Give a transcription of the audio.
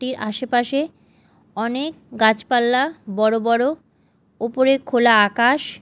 টির আসেপাশে অনেক গাছপালা বড় বড় ওপরে খোলা আকাশ।